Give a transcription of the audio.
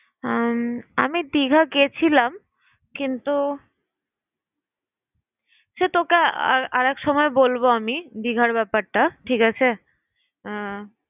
উম আমি দীঘা গেছিলাম কিন্তু সে তোকে আর আর এক সময় বলবো আমি দীঘার ব্যাপারটা। ঠিক আছে?